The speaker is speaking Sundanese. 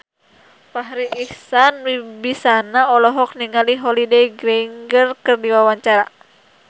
Farri Icksan Wibisana olohok ningali Holliday Grainger keur diwawancara